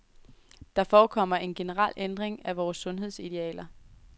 Der forekommer en generel ændring af vore sundhedsidealer.